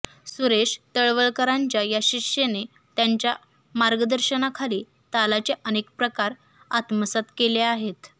सुरेश तळवलकरांच्या या शिष्येने त्यांच्या मार्गदर्शनाखाली तालाचे अनेक प्रकार आत्मसात केले आहेत